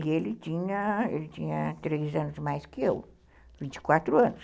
E ele tinha ele tinha três anos a mais que eu, vinte e quatro anos.